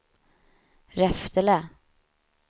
Reftele